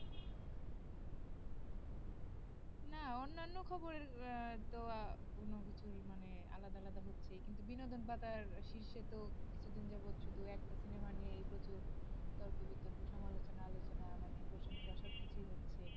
না অন্যান্য খবর এর আহ তো কোন কিছুর মানে আলাদা আলাদা হচ্ছে কিন্তু বিনোদন পাতার শীর্ষে তো কিছু দিন যাবত শুধু একটা সিনেমা নিয়ে যত তর্ক বিতর্ক সমালোচনা আলোচনা মানে প্রশংসা সবকিছুই হচ্ছে